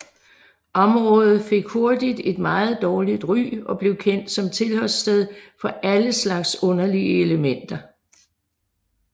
Området fik hurtigt et meget dårligt ry og blev kendt som tilholdssted for alle slags uheldige elementer